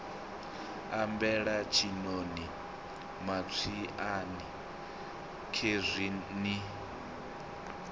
ambela tshiṋoni matswiani khezwi ni